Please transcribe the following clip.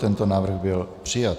Tento návrh byl přijat.